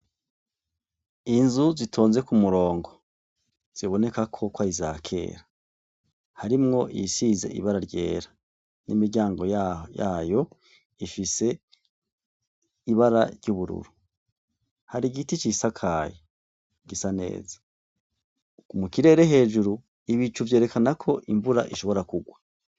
Inzu zitonze kumurongo, ziboneka ko ari iza kera, harimwo iyisize ibara ryera n'imiryango yayo ifise ibara ry'ubururu. Hari igiti cisakaye gisa neza, mukirere hejuru, ibicu vyerekana ko imvura ishobora kugwa.